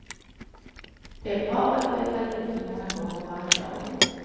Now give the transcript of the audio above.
Det är bra att byta luft många gånger varje dag.